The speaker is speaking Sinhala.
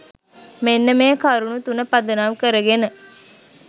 මෙන්න මේ කරුණු තුන පදනම් කරගෙන